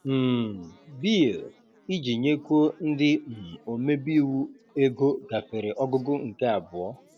um Bill Iji nyekwuo ndị um omebe iwu ego gafere ọgụgụ nke abụọ